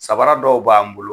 Sabara dɔw b'an bolo